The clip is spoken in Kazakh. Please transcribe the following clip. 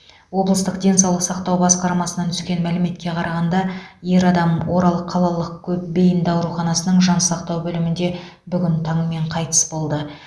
облыстық денсаулық сақтау басқармасынан түскен мәліметке қарағанда ер адам орал қалалық көпбейінді ауруханасының жансақтау бөлімінде бүгін таңмен қайтыс болды